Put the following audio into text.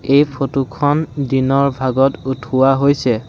এই ফটো খন দিনৰ ভাগত উঠোৱা হৈছে।